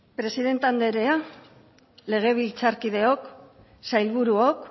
presidente anderea legebiltzarkideok sailburuok